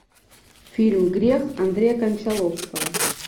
фильм грех андрея кончаловского